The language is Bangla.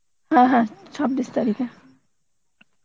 হ্যাঁ হ্যাঁ ছাব্বিশ তারিখে